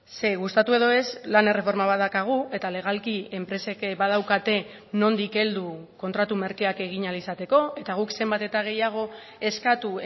ze gustatu edo ez lan erreforma bat daukagu eta legalki enpresek badaukate nondik heldu kontratu merkeak egin ahal izateko eta guk zenbat eta gehiago eskatu